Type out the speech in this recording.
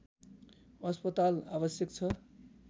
अस्पताल आवश्यक छ